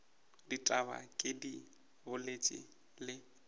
ditaba ke di boletše le